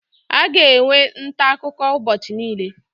A ga-enwe ntaakụkọ ụbọchị niile